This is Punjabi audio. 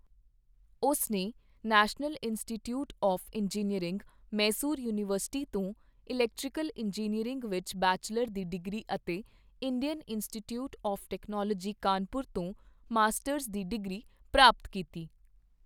ਉਸ ਨੇ national institute of engineering, Mysore university ਤੋਂ ਇਲੈਕਟ੍ਰੀਕਲ ਇੰਜੀਨੀਅਰਿੰਗ ਵਿੱਚ ਬੈਚੱਲਰ ਦੀ ਡਿਗਰੀ ਅਤੇ Indian institute of technology, Kanpur ਤੋਂ ਮਾਸਟਰਜ਼ ਦੀ ਡਿਗਰੀ ਪ੍ਰਾਪਤ ਕੀਤੀ।